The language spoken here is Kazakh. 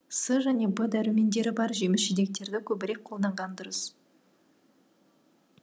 с және в дәрумендері бар жеміс жидектерді көбірек қолданған дұрыс